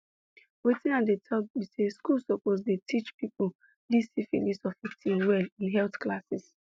wetin i dey talk be say school suppose the teache people this syphilis of a thing well in health classes